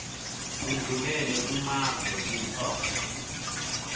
sindlulele kumave kuto